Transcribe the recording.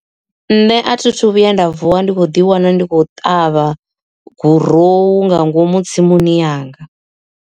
Nṋe a thi thu vhuya nda vuwa ndi kho ḓi wana ndi khou ṱavha gurowu nga ngomu tsimuni yanga.